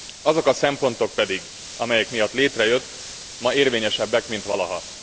Azok a szempontok pedig, amelyek miatt létrejött, ma érvényesebbek, mint valaha.